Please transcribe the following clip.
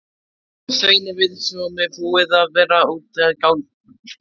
Bauð hún Sveini við svo búið að ganga í bæinn.